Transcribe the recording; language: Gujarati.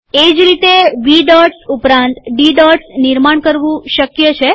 એ જ રીતે વી ડોટ્સ ઉપરાંત ડી ડોટ્સ નિર્માણ કરવું શક્ય છે